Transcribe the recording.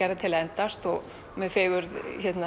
gerðar til að endast og með fegurð